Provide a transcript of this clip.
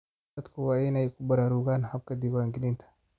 Dadku waa inay ku baraarugaan habka diiwaangelinta.